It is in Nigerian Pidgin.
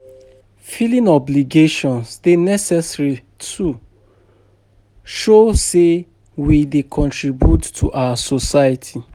Filing obligations dey necessary to show say we dey contribute to our society.